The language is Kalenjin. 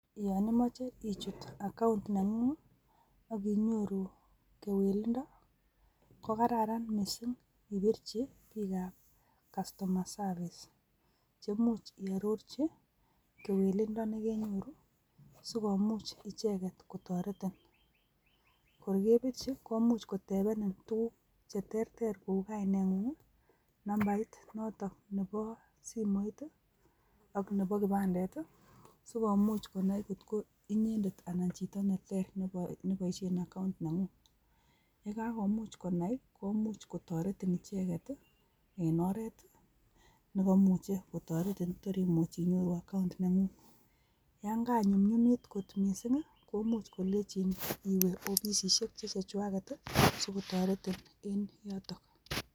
Yon imoche ichut account nengung ak inyoruu kewelindo ko kararan missing ipirchi bik ab customer service che imuch iororji kewelindo nekenyoru sikomuch icheket kotoretin, kor kebirchi komuch kotebenin tukuk cheterter kou kainet ngungii, numbait notonnebo simoit ak nebo kipandet tii sikomuch konai kotko inyendet anan chito neter neboishen account nengung, yekakomuch konai komuch kotoretin icheket tii en oret nekoimuch kotoretin sinyoru account nengung. Yon kanyumyumit kot missing ko much kolenji iwee offisisiek che chechwaket tii sikotoretin en yotok.